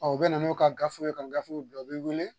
u bɛ na n'u ka gafew ye ka gafew bila u bɛ wele